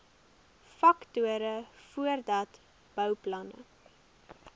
faktore voordat bouplanne